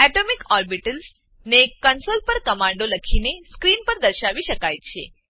atomic orbitals atomic orbitals ને console પર કમાંડો લખીને સ્ક્રીન પર દર્શાવી શકાય છે